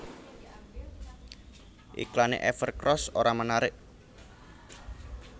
Iklane Evercross ora menarik